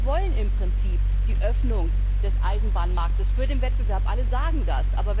Alle wollen im Prinzip die Öffnung des Eisenbahnmarkts für den Wettbewerb, alle sagen das.